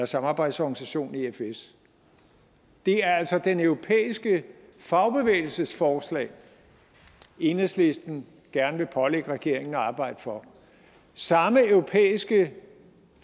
samarbejdsorganisation efs det er altså den europæiske fagbevægelses forslag enhedslisten gerne vil pålægge regeringen at arbejde for samme europæiske